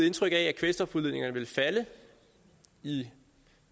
indtryk at kvælstofudledningerne vil falde i